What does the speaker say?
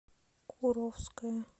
куровское